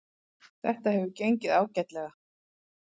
Þetta hefur gengið ágætlega